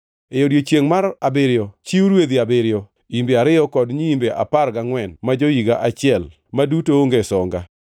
“ ‘E odiechiengʼ mar abiriyo chiw rwedhi abiriyo, imbe ariyo kod nyiimbe apar gangʼwen ma jo-higa achiel, ma duto onge songa.